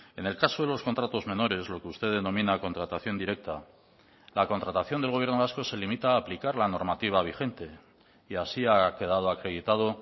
en el caso de los contratos menores lo que usted denomina contratación directa la contratación del gobierno vasco se limita a aplicar la normativa vigente y así ha quedado acreditado